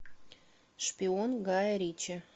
шпион гая ричи